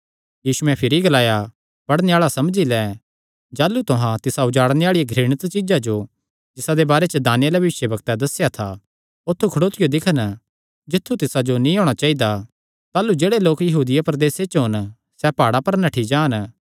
पढ़णे आल़ा समझी लैं जाह़लू तुहां तिसा उजाड़णे आल़ी घृणित चीज्जा जो जिसादे बारे च दानिय्येल भविष्यवक्तैं दस्सेया था औत्थू खड़ोतियो दिक्खन जित्थु तिसा जो नीं होणा चाइदा ताह़लू जेह्ड़े लोक यहूदिया प्रदेसे च होन सैह़ प्हाड़ां पर नठ्ठी जान